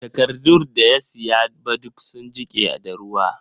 Takardun da ya siya ba duk sun jike da ruwa